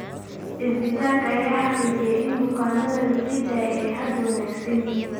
Isbitaalka ayaa xaqiijiyay in bukaanada la sii daayay ay hadda wanaagsan yihiin.